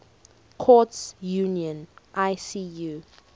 courts union icu